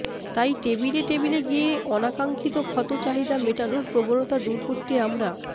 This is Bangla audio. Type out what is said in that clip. তাই টেবিলে টেবিলে গিয়ে অনাকাক্সিক্ষত চাহিদা মেটানোর প্রবণতা দূর করতে আমরা